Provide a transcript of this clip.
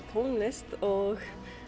tónlist og